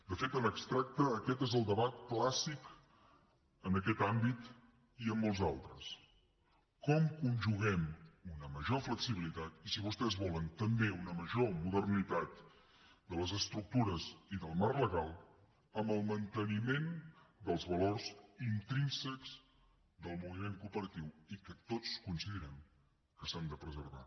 de fet en abstracte aquest és el debat clàssic en aquest àmbit i en molts altres com conjuguem una major flexibilitat i si vostès volen també una major modernitat de les estructures i del marc legal amb el manteniment dels valors intrínsecs del moviment cooperatiu i que tots coincidirem que s’han de preservar